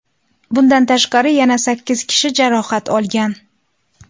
Bundan tashqari, yana sakkiz kishi jarohat olgan.